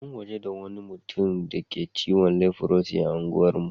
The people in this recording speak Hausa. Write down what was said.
An gwaji wani tsohon mutum da ciwon lifrosi a unguwar mu.